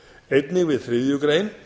einnig við þriðju grein